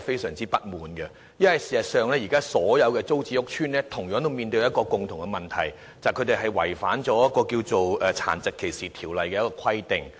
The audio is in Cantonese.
事實上，現時所有租置屋邨均有同樣問題，便是違反了《殘疾歧視條例》的規定。